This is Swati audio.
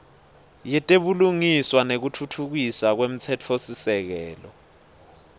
yetebulungiswa nekutfutfukiswa kwemtsetfosisekelo